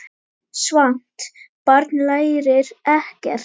Svangt barn lærir ekkert.